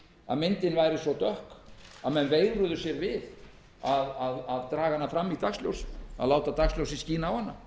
að segja myndin sé svo dökk að menn veigri sér við að draga hana fram í dagsljósið